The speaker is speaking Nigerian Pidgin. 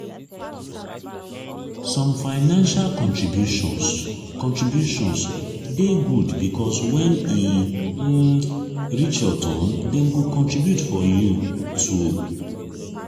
some financial contributions contributions de good because when e um reach your turn dem go contribute for you too